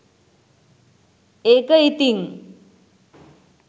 ඒක ඉතිං